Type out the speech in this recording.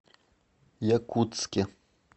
якутске